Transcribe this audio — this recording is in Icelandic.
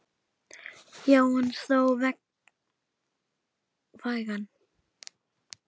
Já en þó vægan.